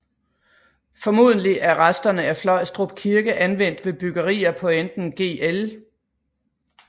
Formodentlig er resterne af Fløjstrup Kirke anvendt ved byggerier på enten Gl